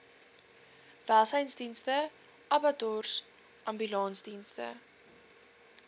welsynsdienste abattoirs ambulansdienste